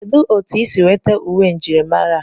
Kedụ otu isi nweta uwe njirimara a?